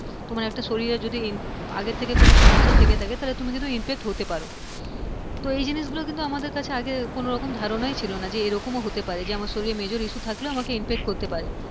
তোমার একটা শরীরে যদি আগের থেকে যদি সমস্যা থেকে থাকে তাহলে তুমি কিন্তু infect হতে পারো তো এই জিনিসগুলো কিন্তু আমাদের কাছে কোনোরকম ধারণাই ছিল না যে এরকমও হতে পারে যে আমার শরীরে major issue আমাকে major issue থাকলেও আমাকে infect করতে পারে,